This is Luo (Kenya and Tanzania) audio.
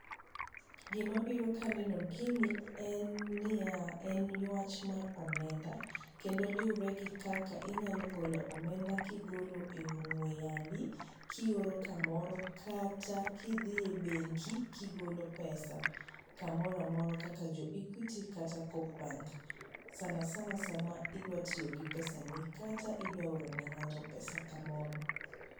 Gi mabiro ka aneno gini en niyaa, en yuach mar omenda, kendo luree gi kaka inyalo golo omenda kigolo e ong'we yambi, kioro kamoro kata kidhie e benki kigolo pesa